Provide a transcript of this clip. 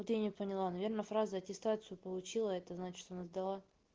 вот я не поняла наверное фраза аттестацию получила это значит она сдала